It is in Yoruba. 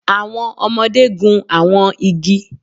Awọn ọmọde gun awọn igi